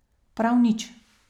Prav nič.